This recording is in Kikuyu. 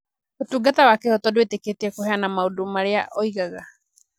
Ũtungata wa kĩhooto ndwĩtĩkĩtie kũheana maũndũ marĩa oigaga.